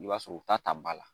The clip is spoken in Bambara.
I b'a sɔrɔ u ta ta ba la